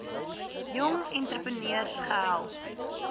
jong entrepreneurs gehelp